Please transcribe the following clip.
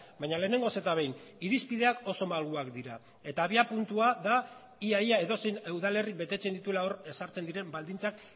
baina lehenengoz eta behin irizpideak oso malguak dira eta abiapuntua da ia ia edozein udalerrik betetzen dituela hor ezartzen diren baldintzak